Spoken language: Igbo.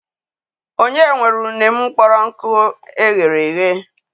O nye nwere une mụkpọrọ nkụ eghereghe?